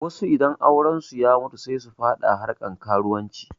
Wasu idan aurensu ya mutu sai su faɗa harkan karuwanci